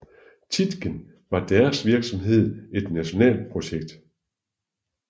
Tietgen var deres virksomhed et nationalt projekt